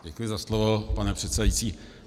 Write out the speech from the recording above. Děkuji za slovo, pane předsedající.